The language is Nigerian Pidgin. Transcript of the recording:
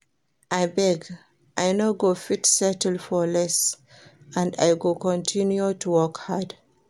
Abeg I no go fit settle for less and I go continue to work hard